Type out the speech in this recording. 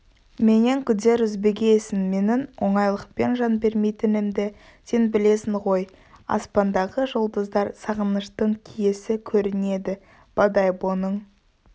менен күдер үзбегейсің менің оңайлықпен жан бермейтінімді сен білесің ғой аспандағы жұлдыздар сағыныштың киесі көрінеді бодойбоның